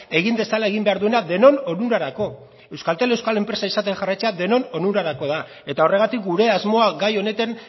egin dezala egin behar duena denon onurarako euskaltel euskal enpresa izaten jarraitzea denon onurarako da eta horregatik gure asmoa gai honetan